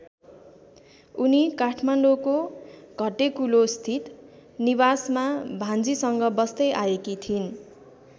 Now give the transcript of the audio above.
उनी काठमाडौँको घट्टेकुलोस्थित निवासमा भान्जीसँग बस्दै आएकी थिइन्।